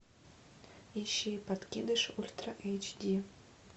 ищи подкидыш ультра эйч ди